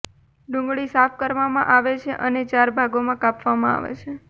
ડુંગળી સાફ કરવામાં આવે છે અને ચાર ભાગોમાં કાપવામાં આવે છે